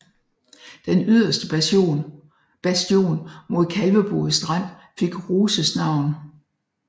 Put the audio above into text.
Den yderste bastion mod Kalvebod Strand fik Ruses navn